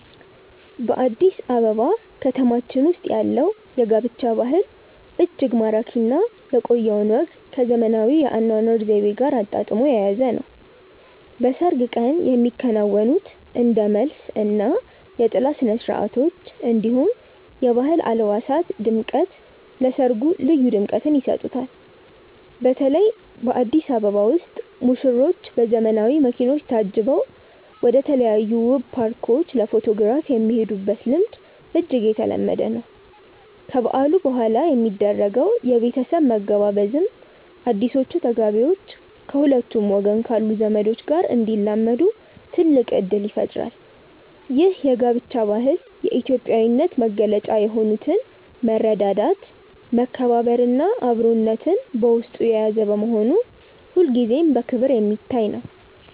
በአዲስ አበባ ከተማችን ውስጥ ያለው የጋብቻ ባህል እጅግ ማራኪ እና የቆየውን ወግ ከዘመናዊው የአኗኗር ዘይቤ ጋር አጣጥሞ የያዘ ነው። በሰርግ ቀን የሚከናወኑት እንደ መልስ እና የጥላ ስነስርዓቶች፣ እንዲሁም የባህል አልባሳት ድምቀት ለሰርጉ ልዩ ድምቀትን ይሰጡታል። በተለይ በአዲስ አበባ ውስጥ ሙሽሮች በዘመናዊ መኪኖች ታጅበው ወደተለያዩ ውብ ፓርኮች ለፎቶግራፍ የሚሄዱበት ልምድ እጅግ የተለመደ ነው። ከበዓሉ በኋላ የሚደረገው የቤተሰብ መገባበዝም አዲሶቹ ተጋቢዎች ከሁለቱም ወገን ካሉ ዘመዶች ጋር እንዲላመዱ ትልቅ እድል ይፈጥራል። ይህ የጋብቻ ባህል የኢትዮጵያዊነትን መገለጫ የሆኑትን መረዳዳት፣ መከባበር እና አብሮነትን በውስጡ የያዘ በመሆኑ ሁልጊዜም በክብር የሚታይ ነው።